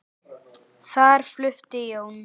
Þar flutti Jón